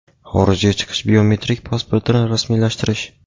xorijga chiqish biometrik pasportini rasmiylashtirish.